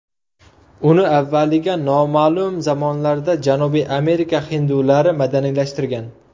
Uni avvaliga noma’lum zamonlarda Janubiy Amerika hindulari madaniylashtirgan.